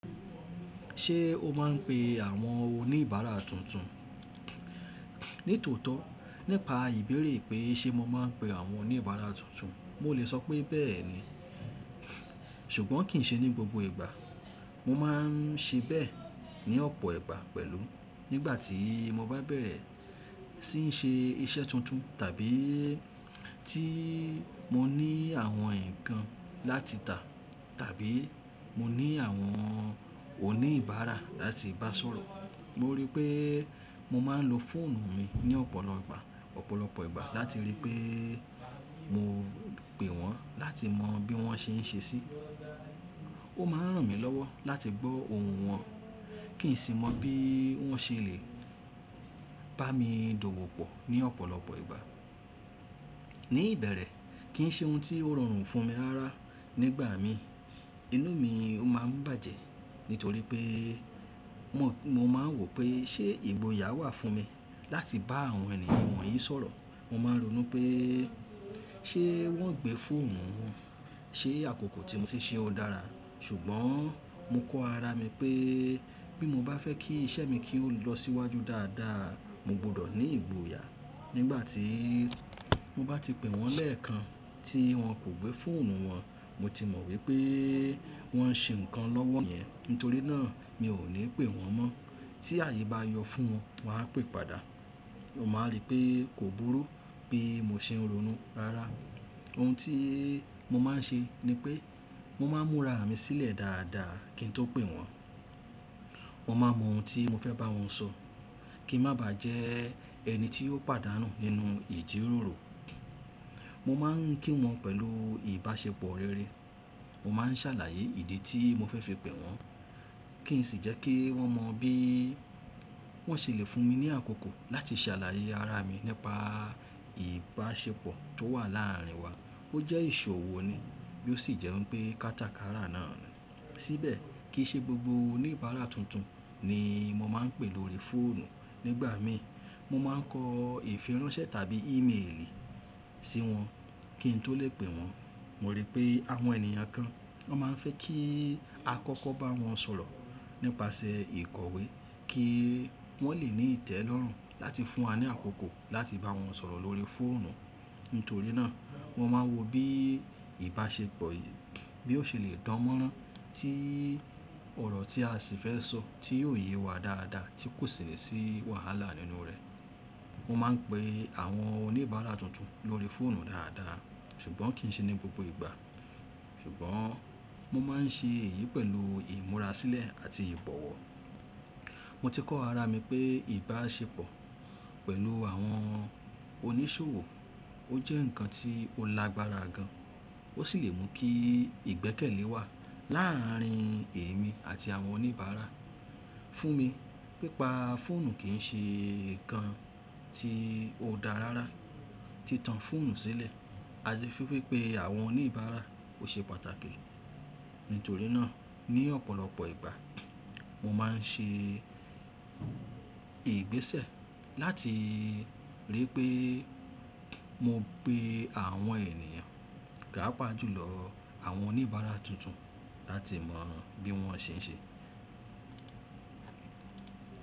Ṣé o máa ń pe àwọn oníbàárà tuntun? Nítòótọ́, nípa ìbéèrè pé ṣé mo máa ń pe àwọn oníbàárà tuntun, mo lè sọ pé bẹ́ẹ̀ ni, ṣùgbọ́n kì í ṣe ní gbogbo ìgbà. Mo máa ń ṣe bẹ́ẹ̀ ní ọ̀pọ̀ ìgbà pẹ̀lú nígbàtí mo bá bẹ̀rẹ̀ sí í ṣe iṣẹ́ tuntun tàbí tí mo ní àwọn nǹkan láti tà tàbí mo ní àwọn oníbàárà láti bá sọ̀rọ̀. Moripe mo máa ń lo foonu mi ni lopolopo igba lati ri wipe mo pe won lati mo bi won se n se si. O maan ran mi lowo lati gbo ohun won, ki n si mo bi won se le bami dowopo ni opolopo igba. Ní ìbẹ̀rẹ̀ kì í ṣe ohun tí ó rọrùn fún mi rárá. Nígbà mi inú mi ó máa ń bàjẹ́ nítorí pé mo máa ń wò pé ṣé ìgboyà wà fún mi láti bá àwọn ènìyàn wọ̀nyí sọ̀rọ̀. Mo máa ń ronú pé ṣé wọ́n gbé fóònù wọn, ṣé àkókò tí mo ṣe ṣẹ́ ó dára, ṣùgbọ́n mo kọ ara mi pé bí mo bá fẹ́ kí iṣẹ́ mi kí ó lọ síwájú dáadáa, mo gbọdọ̀ ní ìgboyà. Nígbà tí mo bá ti pè wọ́n lẹ́ẹ̀kan tí wọ́n kò gbé fóònù wọn, mo ti mọ̀ wípé wọ́n ń ṣe ǹkan lọ́wọ́ niyẹn, nítorí náà mi ò ní pè wọ́n mọ́. Tí ààyè bá yọ fún wọn, wọn á pè padà. Mo máa rí pé kò burú bí mo ṣe ń ronú rárá. Ohun tí mo máa ń ṣe ni pé mo máa ń múra mi sílẹ̀ dáadáa kí n tó pè wọ́n. Mọ máan mọ ohun tí mo fẹ́ bá wọn sọ kí n má bà á jẹ ẹni tí ó pàdánù nínú ìjíròrò. Mo máa ń kí wọn pẹ̀lú ìbáṣepọ̀ rere. Mo máa ń ṣàlàyé ìdí tí mo fẹ́ fi pè wọ́n kí n sì jẹ́ kí wọ́n mọ bí wọ́n ṣe lè fún mi ní àkókò láti ṣàlàyé ara mi nípa ìbáṣepọ̀ tó wà láàrin wa. Ó jẹ́ ìṣòwò ni bí ó sì jẹ́ wípé pé kátakàrà náà ni. Síbẹ̀ kì í ṣe gbogbo oníbàárà tuntun ni mo máa ń pè lórí fóònù. Nígbà mi mo máa ń kọ ìfiránsẹ́ tàbí íméèlì sí wọn kí n tó lè pè wọ́n. Mo rí pé àwọn ènìyàn kan wọ́n máa ń fẹ́ kí a kọ́kọ́ bá wọn sọ̀rọ̀ nípasẹ̀ ìkọ̀wé kí wọ́n lè ní ìtẹ́lọ́rùn láti fún wa ní àkókò láti bá wọn sọ̀rọ̀ lórí fóònù. Nítorí náà mo máa wo bí ìbáṣepọ̀ yìí bí ó ṣe lè dánmọ́rán tí ọ̀rọ̀ tí a sì fẹ́ sọ tí yóò yé wa dáadáa tí kò sì ní sí wàhálà nínú rẹ̀. Mo máa ń pe àwọn oníbàárà tuntun lórí fóònù dáadáa ṣùgbọ́n kì í ṣe ní gbogbo ìgbà. Ṣùgbọ́n mo máa ń ṣe èyí pẹ̀lú ìmúra sílẹ̀ àti ìbọ̀wọ̀. Mo ti kọ ara mi pé ìbáṣepọ̀ pẹ̀lú àwọn onísòwò ó jẹ́ ǹkan tí ó lágbára gan, ó sì lè mú kí ìgbẹ́kẹ̀lé wà láàrin èmi àti àwọn oníbàárà. Fún mi, pípa fóònù kì í ṣe ǹkan tí ó dá rárá. Tí tan fóònù sílẹ̀, a lè fífe pé àwọn oníbàárà ò ṣe pàtàkì. Nítorí náà ní ọ̀pọ̀lọpọ̀ ìgbà mo máa ń ṣe ìgbésẹ̀ láti ríi pé mo pè àwọn ènìyàn, páápàjùlọ àwọn oníbàárà tuntun láti mọ bí wọ́n ṣe ń ṣe.